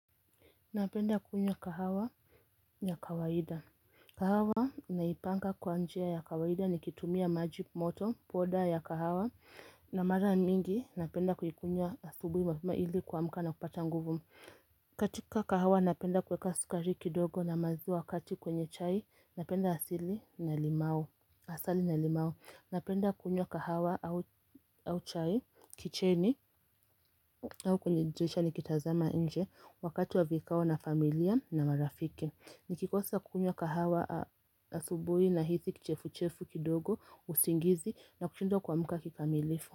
Napenda kunywa kahawa ya kawaida. Kahawa naipanga kwa njia ya kawaida nikitumia maji moto, poda ya kahawa na mara mingi napenda kuikunywa asubi mapema ili kuamka na kupata nguvu. Katika kahawa napenda kuweka sukari kidogo na maziwa wakati kwenye chai napenda asili na limau Asali na limau Napenda kunywa kahawa au chai kicheni au kwenye dirisha nikitazama inje wakati wa vikao na familia na marafiki Nikikosa kunywa kahawa asubui nahisi kichefu chefu kidogo usingizi na kushindwa kuamka kikamilifu.